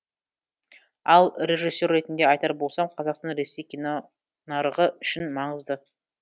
ал режиссер ретінде айтар болсам қазақстан ресей кино нарығы үшін маңызды